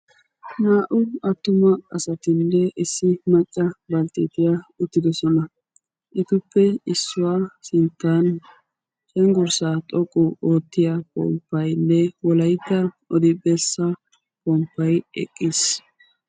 Naa"u attuma asatinne issi macca balttettiyaa uttidosona. etuppe issuwaa sinttaan cengurssaa xoqqu oottiyaa pomppayinne wolaytta odibessaa pomppay eqqiis.